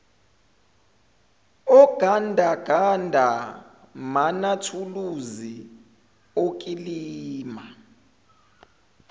ogandaganda manathuluzi okulima